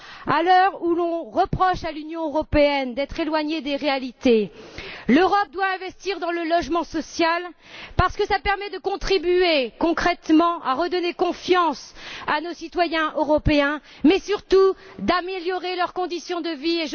À l'heure où l'on reproche à l'Union européenne d'être éloignée des réalités, l'Europe doit investir dans le logement social, parce que cela permettra de contribuer concrètement à redonner confiance à nos citoyens européens, mais surtout d'améliorer leurs conditions de vie.